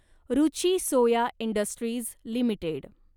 Ruchi Soya industries limited